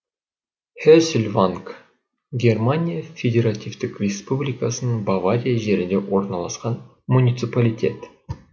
хесльванг германия федеративтік республикасының бавария жерінде орналасқан муниципалитет